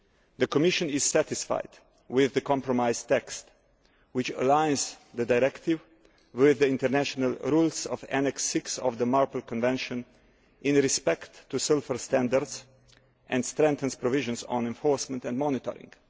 The Commission is satisfied with the compromise text, which aligns the directive with the international rules of Annex 6 of the MARPOL Convention in respect of sulphur standards and strengthens provisions on enforcement and monitoring.